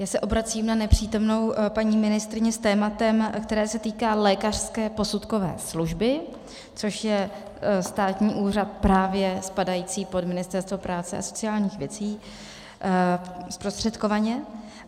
Já se obracím na nepřítomnou paní ministryni s tématem, které se týká lékařské posudkové služby, což je státní úřad právě spadající pod Ministerstvo práce a sociálních věcí zprostředkovaně.